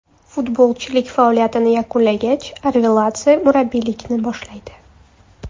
Futbolchilik faoliyatini yakunlagach, Arveladze murabbiylikni boshlaydi.